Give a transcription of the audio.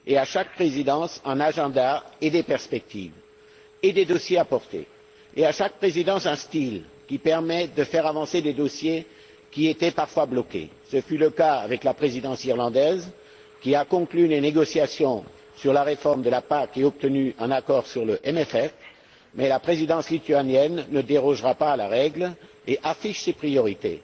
Chaque présidence comporte un agenda et des perspectives et apporte son lot de dossiers. Chaque présidence adopte un style propre, qui permet de faire avancer des dossiers qui étaient parfois bloqués. Ce fut le cas avec la Présidence irlandaise, qui a conclu les négociations sur la réforme de la PAC et obtenu un accord sur le CFP, et la Présidence lituanienne ne dérogera pas à la règle et affiche ses priorités.